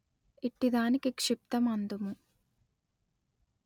ఇట్టిదానికి క్షిప్తము అందుము